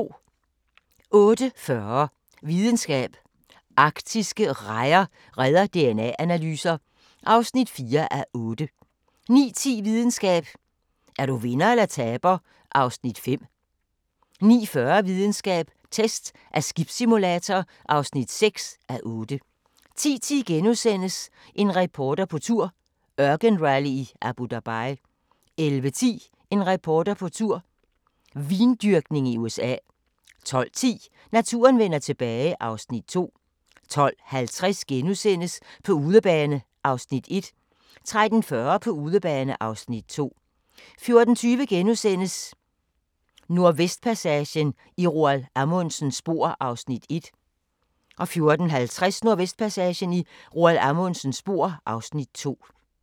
08:40: Videnskab: Arktiske rejer redder DNA-analyser (4:8) 09:10: Videnskab: Er du vinder eller taber (5:8) 09:40: Videnskab: Test af skibssimulator (6:8) 10:10: En reporter på tur – ørkenrally i Abu Dhabi * 11:10: En reporter på tur - vindyrkning i USA 12:10: Naturen vender tilbage (Afs. 2) 12:50: På udebane (Afs. 1)* 13:40: På udebane (Afs. 2) 14:20: Nordvestpassagen – i Roald Amundsens spor (Afs. 1)* 14:50: Nordvestpassagen – i Roald Amundsens spor (Afs. 2)